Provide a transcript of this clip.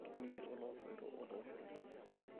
Keme oloisotoo otooshoki.